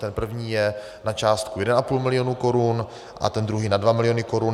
Ten první je na částku 1,5 milionu korun a druhý na 2 miliony korun.